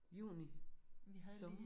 Juni. Sommer